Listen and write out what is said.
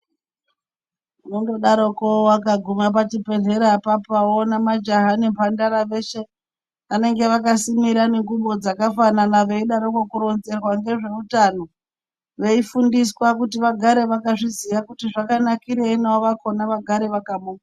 Unongodaroko ukaguma pachibhehlera apapa appointment woona majaha nemhandara veshe vanenge vakasimira nguwo dzakafanana veidaroko kuronzerwa ngezveutano, veifundiswa kuti vagare vazviziya kuti zvakanakirei navo vakhona vagare vakamuka.